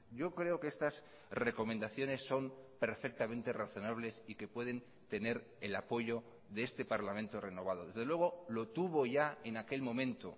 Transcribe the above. yo creo que estas recomendaciones son perfectamente razonables y que pueden tener el apoyo de este parlamento renovado desde luego lo tuvo ya en aquel momento